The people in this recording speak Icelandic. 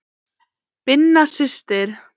Birna systir.